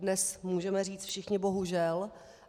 Dnes můžeme říct všichni bohužel.